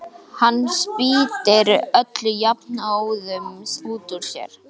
Hann spýtir öllu jafnóðum út úr sér.